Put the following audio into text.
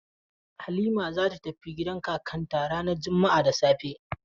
Halima za ta tafi gidan kakanta ranar juma'a da safe.